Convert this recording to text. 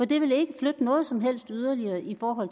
det vil ikke flytte noget som helst yderligere i forhold